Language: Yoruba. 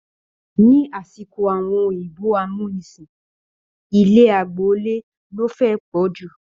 Ni asiko àwọn òyìnbó amúnisìn, ilé agboole lo fẹ e pọju.